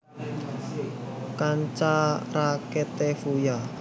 Kanca raketé Fuya